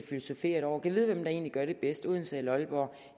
filosoferet over gad vide hvem der egentlig gør det bedst odense eller aalborg